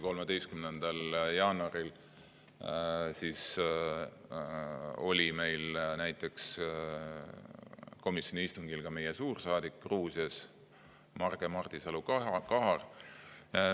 13. jaanuaril oli komisjoni istungil ka meie suursaadik Gruusias Marge Mardisalu-Kahar.